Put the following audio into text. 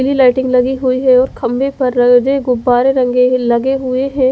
पिली लाइटिंग लगी हुई है और खम्भे पर रे और गुब्बारे लगे लगे हुए है।